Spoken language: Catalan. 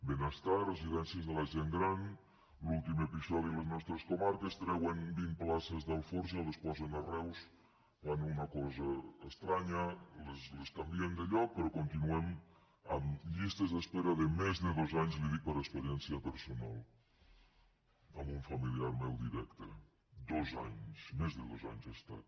benestar residències de la gent gran l’últim episodi a les nostres comarques treuen vint places d’alforja les posen a reus fan una cosa estranya les canvien de lloc però continuen amb llistes d’espera de més de dos anys li ho dic per experiència personal amb un familiar meu directe dos anys més de dos anys ha estat